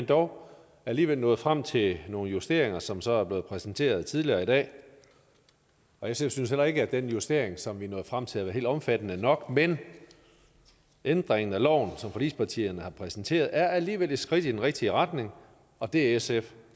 dog alligevel nået frem til nogle justeringer som så er blevet præsenteret tidligere i dag sf synes heller ikke at den justering som vi er nået frem til er helt omfattende nok men ændringen af loven som forligspartierne har præsenteret er alligevel et skridt i den rigtige retning og det er sf